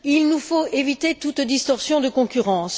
Il nous faut éviter toute distorsion de concurrence.